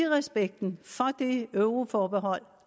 respekten for det euroforbehold